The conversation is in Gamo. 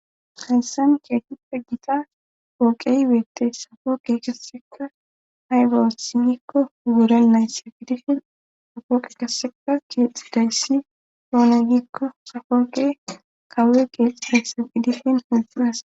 hayssan kee pegjita ooqey weette safooqe kasseka haygaotsi gikko ugural nayssa fidifin safooqe kasseka kiexi dayssi poona gikko safooqe kawe qeexi haysse fidifin hilxas